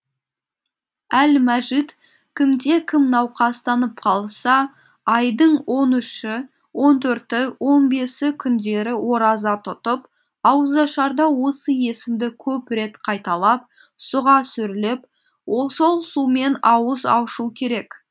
әл мәжид кімде кім науқастанып қалса айдың он үші он төрті он бесі күндері ораза тұтып ауызашарда осы есімді көп рет қайталап суға үрлеп сол сумен ауыз ашу керек